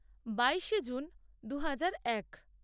বাইশে জুন দু হাজার এক